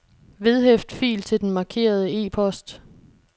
Vedhæft fil til den markerede e-post.